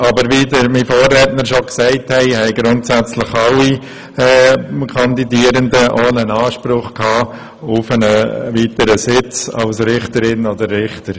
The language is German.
Wie bereits gesagt wurde, haben grundsätzlich beide Parteien einen Anspruch auf einen weiteren Sitz als Richterin oder Richter.